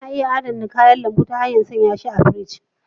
Ana iya adana kayan lambu ta hanyar sanya shi a cikin firiji.